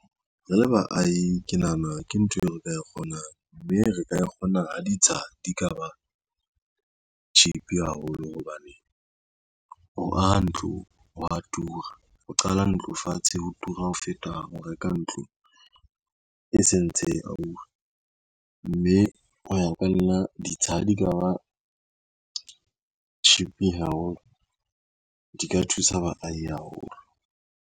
Re le baahi ke nahana ke ntho eo re ka e kgonang, mme re ka kgona ha ditsha di ka ba cheap haholo hobane, ho aha ntlo hwa tura. Ho qala ntlo fatshe ho tura ho feta, ho reka ntlo e sentse e ahuwe, mme ho ya ka nna ditsha ha di ka ba cheap haholo, di ka thusa baahi haholo.